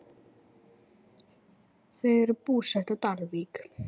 Þau eru búsett á Dalvík.